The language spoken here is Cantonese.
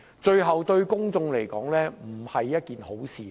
最後對公眾來說也並非好事。